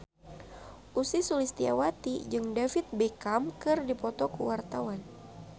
Ussy Sulistyawati jeung David Beckham keur dipoto ku wartawan